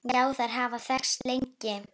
Já, þær hafa þekkst lengi.